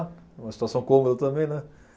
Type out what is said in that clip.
Uma situação cômoda também, né?